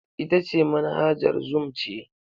Ita ce Manhajar zoom ce.